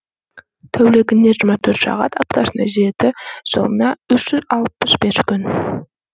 тәулігіне жиырма төрт сағат аптасына жеті жылына үш жүз алпыс бес күн